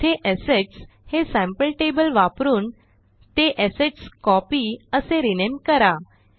येथे असेट्स हे sample table वापरून ते असेटस्कोपी असे रिनेम करा